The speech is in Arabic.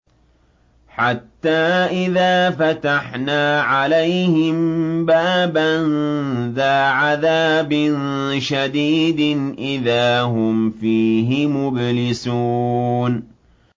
حَتَّىٰ إِذَا فَتَحْنَا عَلَيْهِم بَابًا ذَا عَذَابٍ شَدِيدٍ إِذَا هُمْ فِيهِ مُبْلِسُونَ